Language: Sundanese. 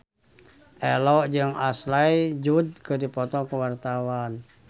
Ello jeung Ashley Judd keur dipoto ku wartawan